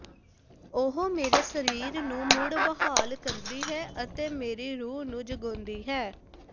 ਉਹ ਮੇਰੇ ਸਰੀਰ ਨੂੰ ਮੁੜ ਬਹਾਲ ਕਰਦੀ ਹੈ ਅਤੇ ਮੇਰੀ ਰੂਹ ਨੂੰ ਜਗਾਉਂਦੀ ਹੈ